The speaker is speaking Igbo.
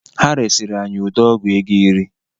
Ha resiri anyị ude ọgụ ego iri